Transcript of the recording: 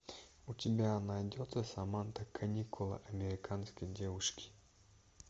у тебя найдется саманта каникулы американской девушки